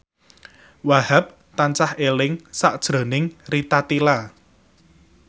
Wahhab tansah eling sakjroning Rita Tila